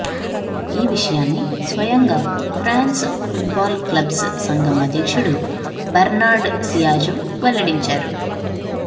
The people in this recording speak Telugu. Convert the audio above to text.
ఈ విషయాన్ని స్వయంగా ఫ్రాన్స్ ఫుట్బాల్ క్లబ్స్ సంఘం అధ్యక్షుడు బెర్నార్డ్ సియాజో వెల్లడించారు